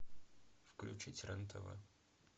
включить рен тв